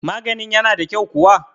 maganin yana da kyau kuwa?